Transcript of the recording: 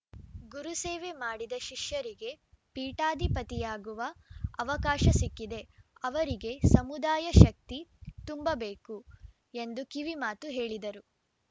ಗುರುಸೇವೆ ಮಾಡಿದ ಶಿಷ್ಯರಿಗೆ ಪೀಠಾಧಿಪತಿಯಾಗುವ ಅವಕಾಶ ಸಿಕ್ಕಿದೆ ಅವರಿಗೆ ಸಮುದಾಯ ಶಕ್ತಿ ತುಂಬಬೇಕು ಎಂದು ಕಿವಿ ಮಾತು ಹೇಳಿದರು